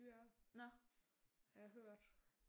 Dyrere har jeg hørt